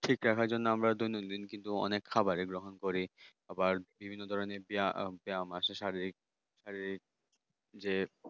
ঠিক রাখার জন্য আমরা দৈনন্দিন কিন্তু যে অনেক খাবার গুলো করি আবার বিভিন্ন ধরনের ব্যায়াম আছে মাসে শারীরিক শারীরিক যে